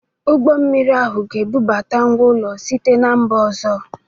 Ụgbọ mmiri ahụ ga-ebubata ngwá ụlọ site na mba ọzọ.